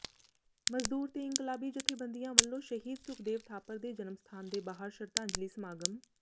ਮਜ਼ਦੂਰ ਤੇ ਇਨਕਲਾਬੀ ਜਥੇਬੰਦੀਆਂ ਵੱਲੋਂ ਸ਼ਹੀਦ ਸੁਖਦੇਵ ਥਾਪਰ ਦੇ ਜਨਮ ਸਥਾਨ ਦੇ ਬਾਹਰ ਸ਼ਰਧਾਂਜਲੀ ਸਮਾਗਮ